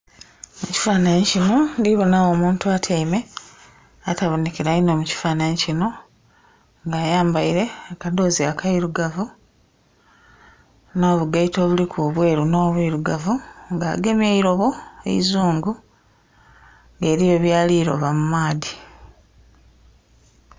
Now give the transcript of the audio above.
Ekifanhanhi kino ndhibonawo omuntu atyaime atabonhekela inho mu kafanhanhi kino, nga ayambaile akadhoozi akairugavu, nh'obugaito obuliku obweru nh'obwirugavu. Nga agemye eilobo eizungu, nga eliyo byali loba mu maadhi.